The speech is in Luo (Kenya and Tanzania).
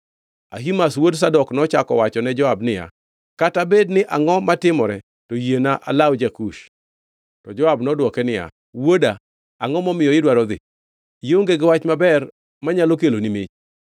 Ahimaz wuod Zadok nochako wacho ne Joab niya, “Kata bed ni angʼo matimore, to yiena alaw ja-Kush.” To Joab nodwoke niya, “Wuoda, angʼo momiyo idwaro dhi? Ionge gi wach maber manyalo keloni mich.”